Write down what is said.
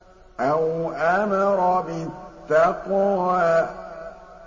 أَوْ أَمَرَ بِالتَّقْوَىٰ